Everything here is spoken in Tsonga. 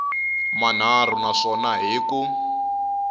manharhu na swona hi ku